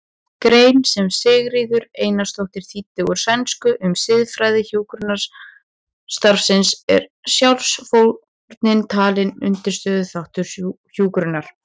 grein sem Sigríður Eiríksdóttir þýddi úr sænsku um siðfræði hjúkrunarstarfsins er sjálfsfórnin talin undirstöðuþáttur hjúkrunar.